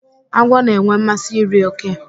Agwọ na-enwe mmasị iri òké.